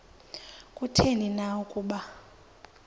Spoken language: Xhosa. kutheni na ukuba